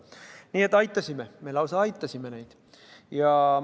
Nii et aitasime, me lausa aitasime neid.